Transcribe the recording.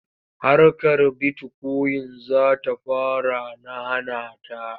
Harkar bitikoyin za ta fara na hana ta.